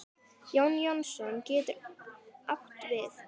Jón Jónsson getur átt við